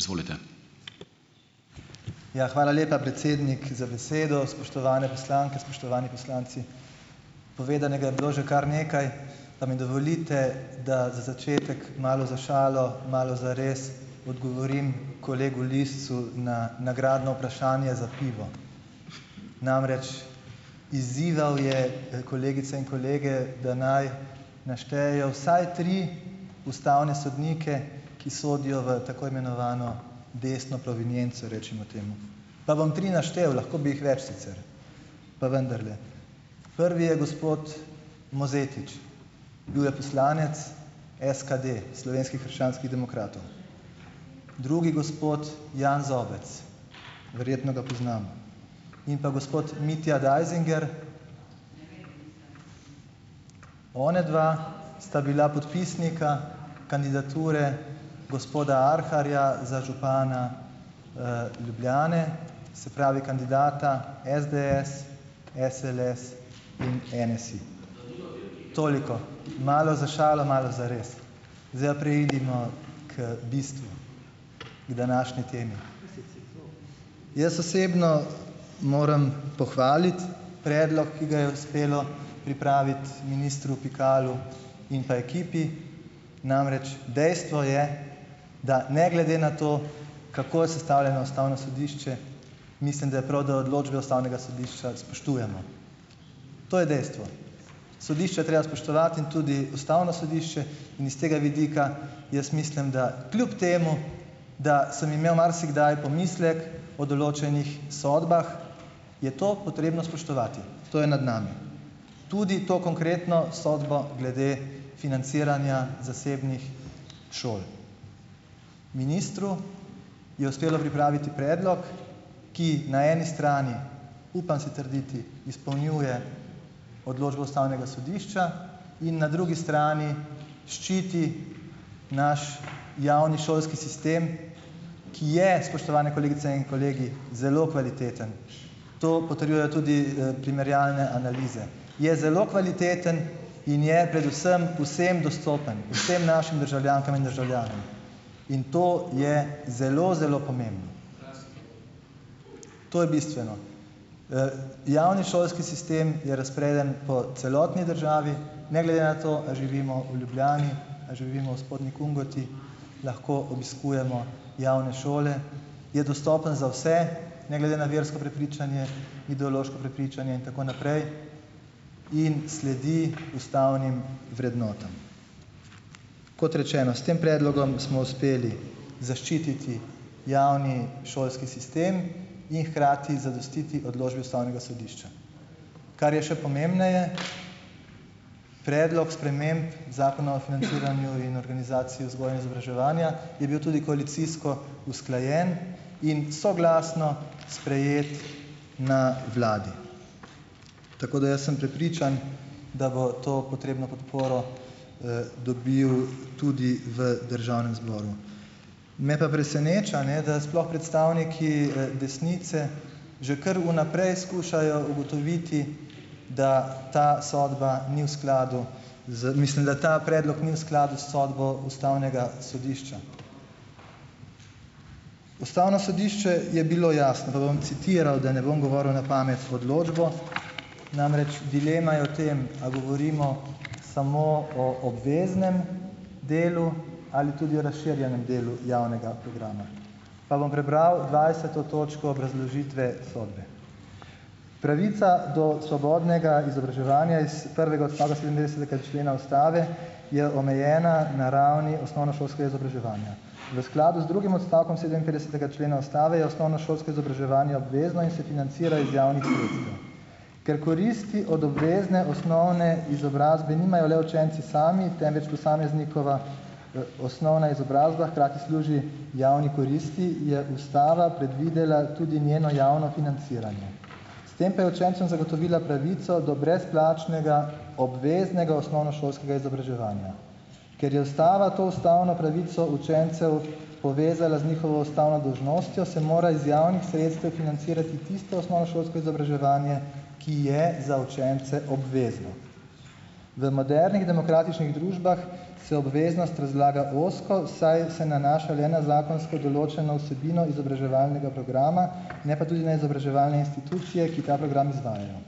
Izvolite. Ja, hvala lepa, predsednik za besedo. Spoštovane poslanke, spoštovani poslanci. Povedanega je bilo že kar nekaj, pa mi dovolite, da za začetek malo za šalo, malo za res odgovorim kolegu Liscu na nagradno vprašanje za pivo . Namreč, izzival je kolegice in kolege, da naj naštejejo vsaj tri ustavne sodnike, ki sodijo v tako imenovano desno provenienco, rečemo temu. Pa bom tri naštel, lahko bi jih več sicer. Pa vendarle. Prvi je gospod Mozetič. Bil je poslanec SKD, Slovenskih krščanskih demokratov . Drugi gospod, Jan Zobec. Verjetno ga poznamo . In pa gospod Mitja Deisinger . Onadva sta bila podpisnika kandidature gospoda Arharja za župana Ljubljane, se pravi kandidata SDS, SLS, NSi. Toliko. Malo za šalo, malo za res. Zdaj pa preidimo k bistvu. K današnji temi. Jaz osebno moram pohvaliti predlog, ki ga je uspelo pripraviti ministru Pikalu in pa ekipi. Namreč, dejstvo je, da ne glede na to, kako je sestavljeno Ustavno sodišče, mislim, da je prav, da odločbe Ustavnega sodišča spoštujemo. To je dejstvo. Sodišče je treba spoštovati in tudi Ustavno sodišče in iz tega vidika jaz mislim, da kljub temu , da sem imel marsikdaj pomislek o določenih sodbah, je to potrebno spoštovati. To je nad nami. Tudi to konkretno sodbo glede financiranja zasebnih šol. Ministru je uspelo pripraviti predlog, ki na eni strani, upam si trditi, izpolnjuje odločbo Ustavnega sodišča in na drugi strani ščiti naš javni šolski sistem, ki je, spoštovane kolegice in kolegi, zelo kvaliteten. To potrjujejo tudi primerjalne analize. Je zelo kvaliteten in je med vsem vsem dostopen. Vsem našim državljankam in državljanom . In to je zelo zelo pomembno. To je bistveno. javni šolski sistem je razpreden po celotni državi, ne glede na to, ali živimo v Ljubljani a živimo v Spodnji Kungoti , lahko obiskujemo javne šole, je dostopen za vse, ne glede na versko prepričanje, ideološko prepričanje in tako naprej . In sledi ustavnim vrednotam. Kot rečeno, s tem predlogom smo uspeli zaščititi javni šolski sistem in hkrati zadostiti odločbi Ustavnega sodišča. Kar je še pomembneje, predlog sprememb Zakona o financiranju in organizaciji vzgoje in izobraževanja, je bil tudi koalicijsko usklajen in soglasno sprejet na vladi. Tako da jaz sem prepričan, da bo to potrebno podporo dobil tudi v Državnem zboru. Me pa preseneča, ne, da sploh predstavniki desnice, že kar vnaprej skušajo ugotoviti, da ta sodba ni v skladu mislim, da ta predlog ni v skladu s sodbo Ustavnega sodišča. Ustavno sodišče je bilo jasno, pa bom citiral, da ne bom govoril na pamet, odločbo, namreč dilema je v tem, a govorimo samo o obveznem delu ali tudi razširjenem delu javnega programa. Pa bom prebral dvajseto točko obrazložitve sodbe: "Pravica do svobodnega izobraževanja iz prvega odstavka sedemindvajsetega člena Ustave je omejena na ravni osnovnošolskega izobraževanja. V skladu z drugim odstavkom sedeminpetdesetega člena Ustave je osnovnošolsko izobraževanje obvezno in se financira iz javnih sredstev ." Ker koristi od obvezne osnovne izobrazbe nimajo le učenci sami, temveč posameznikova osnovna izobrazba hkrati služi javni koristi, je Ustava predvidela tudi njeno javno financiranje . S tem pa je učencem zagotovila pravico do brezplačnega obveznega osnovnošolskega izobraževanja. Ker je Ustava to ustavno pravico učencev povezala z njihovo ustavno dolžnostjo, se mora iz javnih sredstev financirati tisto osnovnošolsko izobraževanje, ki je za učence obvezno. V modernih demokratičnih družbah se obveznost razlaga ozko, saj se nanaša le na zakonsko določeno vsebino izobraževalnega programa, ne pa tudi na izobraževalne institucije, ki ta program izvajajo .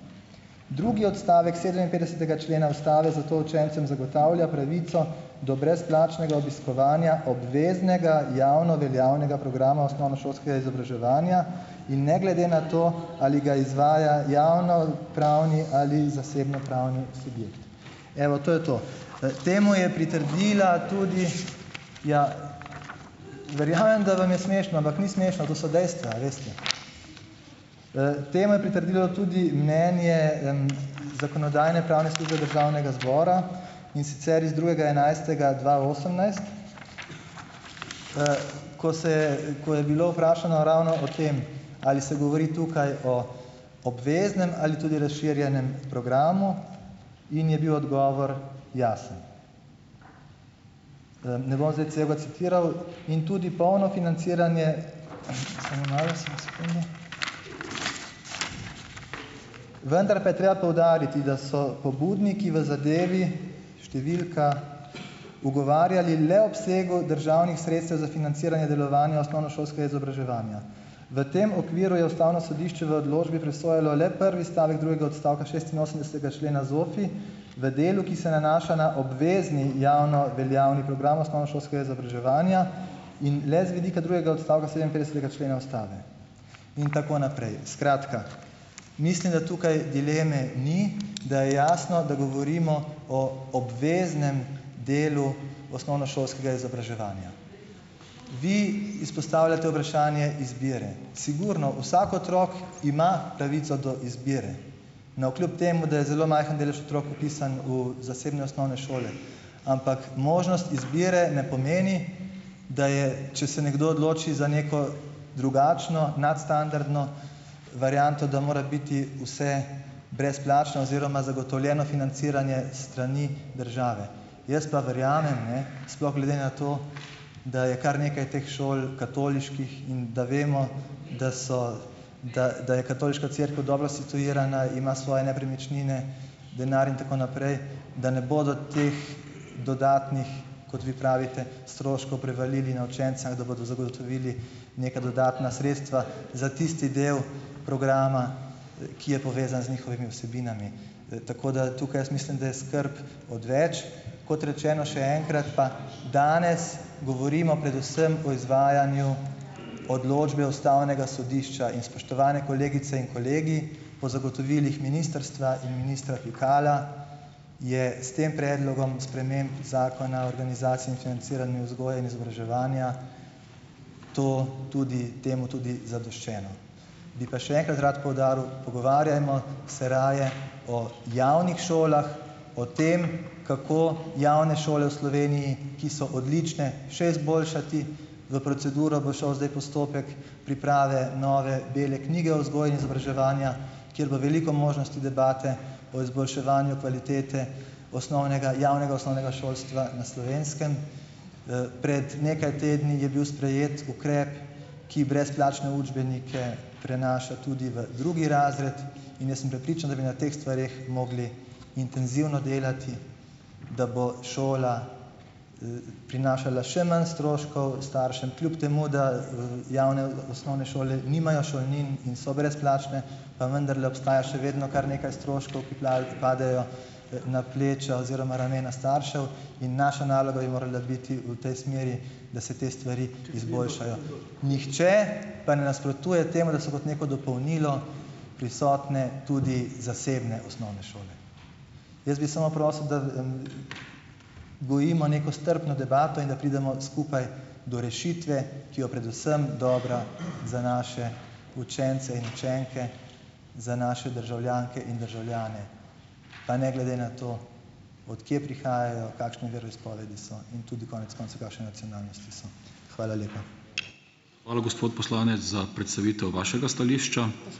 Drugi odstavek sedeminpetdesetega člena Ustave zato učencem zagotavlja pravico do brezplačnega obiskovanja obveznega javno veljavnega programa osnovnošolskega izobraževanja in ne glede na to, ali ga izvaja javnopravni ali zasebnopravni subjekt . Evo, to je to. temu je pritrdila tudi , ja, verjamem, da vam je smešno, ampak ni smešno, to so dejstva, a veste. temu je pritrdilo tudi mnenje Zakonodajno-pravne službe Državnega zbora, in sicer iz drugega enajstega dva osemnajst ko se je, ko je bilo vprašano ravno o tem, ali se govori tukaj o obveznem ali tudi razširjenem programu, in je bil odgovor jasen. ne bom zdaj celega citiral in tudi polno financiranje samo malo, samo sekundo , vendar pa je treba poudariti, da so pobudniki v zadevi številka, pogovarjali le o obsegu državnih sredstev za financiranje delovanja osnovnošolskega izobraževanja. V tem okviru je Ustavno sodišče v odločbi presojalo le prvi stavek drugega odstavka šestinosemdesetega člena ZOFI v delu, ki se nanaša na obvezni javno veljavni program osnovnošolskega izobraževanja in le z vidika drugega odstavka sedeminpetdesetega člena Ustave. In tako naprej. Skratka, mislim, da tukaj dileme ni, da je jasno, da govorimo o obveznem delu osnovnošolskega izobraževanja. Vi izpostavljate vprašanje izbire .. Sigurno vsak otrok ima pravico do izbire. Navkljub temu, da je zelo majhen delež otrok vpisan v zasebne osnovne šole . Ampak možnost izbire ne pomeni, da je, če se nekdo odloči za neko drugačno, nadstandardno varianto, da mora biti vse brezplačno oziroma zagotovljeno financiranje s strani države. Jaz pa verjamem, ne , sploh glede na to, da je kar nekaj teh šol katoliških in da vemo, da so , da, da je katoliška cerkev dobro instituirana, ima svoje nepremičnine , denar in tako naprej, da ne bodo teh dodatnih, kot vi pravite, stroškov prevalili na učenca, ampak da bodo zagotovili neka dodatna sredstva za tisti del programa, ki je povezan z njihovimi vsebinami. tako da tukaj jaz mislim, da je skrb odveč. Kot rečeno, še enkrat, pa, danes govorimo predvsem o izvajanju odločbe Ustavnega sodišča in, spoštovane kolegice in kolegi, po zagotovilih ministrstva in ministra Pikala je s tem predlogom sprememb Zakona o organizaciji in financiranju vzgoje in izobraževanja to tudi, temu tudi zadoščeno. Bi pa še enkrat rad poudaril, pogovarjajmo se raje o javnih šolah, o tem , kako javne šole v Sloveniji, ki so odlične, še izboljšati, v proceduro bo šel zdaj postopek priprave nove bele knjige o vzgoji in izobraževanju, ker bo veliko možnosti debate o izboljševanju kvalitete osnovnega, javnega osnovnega šolstva na Slovenskem. pred nekaj tedni je bil sprejet ukrep, ki brezplačne učbenike prenaša tudi v drugi razred, in jaz sem prepričan, da bi na teh stvareh mogli intenzivno delati, da bo šola prinašala še manj stroškov staršem, kljub temu da javne osnovne šole nimajo šolnin in so brezplačne, pa vendarle obstaja še vedno kar nekaj stroškov, ki ki padejo na pleča oziroma ramena staršev, in naša naloga bi morala biti v tej smeri, da se te stvari izboljšajo . Nihče pa ne nasprotuje temu, da so kot neko dopolnilo prisotne tudi zasebne osnovne šole. Jaz bi samo prosil, da gojimo neko strpno debato in da pridemo skupaj do rešitve, ki jo predvsem dobra za naše učence in učenke , za naše državljanke in državljane. Pa ne glede na to, od kje prihajajo, kakšnega veroizpovedi so in tudi konec koncev kakšne nacionalnosti so. Hvala lepa . Hvala, gospod poslanec, za predstavitev vašega stališča.